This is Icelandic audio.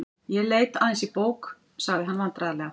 Ég leit aðeins í bók.- sagði hann vandræðalega.